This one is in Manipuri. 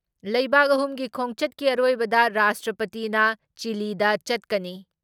ꯂꯩꯕꯥꯛ ꯑꯍꯨꯝꯒꯤ ꯈꯣꯡꯆꯠꯀꯤ ꯑꯔꯣꯏꯕꯗ ꯔꯥꯁꯇ꯭ꯔꯄꯇꯤꯅ ꯆꯤꯜꯂꯤꯗ ꯆꯠꯀꯅꯤ ꯫